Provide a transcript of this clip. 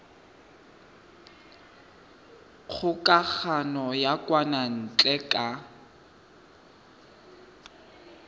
kgokagano ya kwa ntle ka